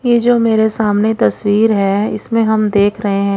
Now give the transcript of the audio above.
यह जो मेरे सामने तस्वीर है इसमें हम देख रहे हैं।